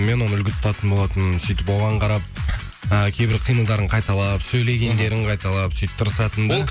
мен оны үлгі тұтатын болатынмын сөйтіп оған қарап э кейбір қимылдарын қайталап сөйлегендерін қайталап сөйтіп тырысатын да